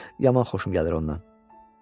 Yaman xoşum gəlir ondan.